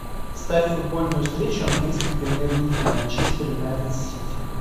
ставь футбольную встречу английской премьер лиги манчестер юнайтед сити